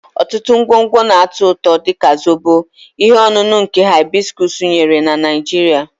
Ọtụtụ ngwongwo na-atọ ụtọ, dị ka Zobo, ihe ọṅụṅụ nke hibiscus nyere na Nigeria.